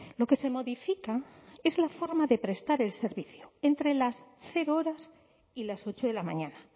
lo que se modifica es la forma de prestar el servicio entre las cero horas y las ocho de la mañana